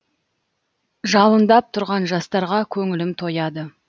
жалындап тұрған жастарға көңілім тойады